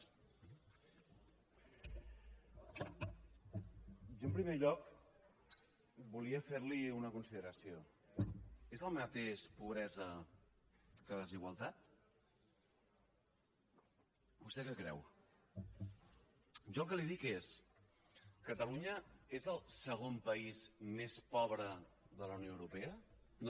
jo en primer lloc volia ferli una consideració és el mateix pobresa que desigualtat vostè què creu jo el que li dic és catalunya és el segon país més pobre de la unió europea no